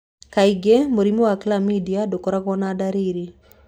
Kaingĩ mũrimũ wa Chlamydia ndũkoragwo na ndariri.